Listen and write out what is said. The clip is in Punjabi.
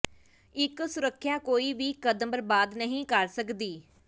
ਇੱਕ ਸੁਰੱਖਿਆ ਕੋਈ ਵੀ ਕਦਮ ਬਰਬਾਦ ਨਹੀਂ ਕਰ ਸਕਦੀ